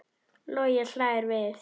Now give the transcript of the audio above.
Logi hlær við.